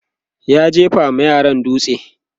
ya jefa ma yaran dutse